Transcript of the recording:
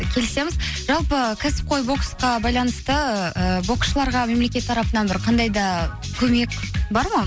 келісеміз жалпы кәсіпқой боксқа байланысты ыыы боксшыларға мемлекет тарапынан бір қандай да көмек бар ма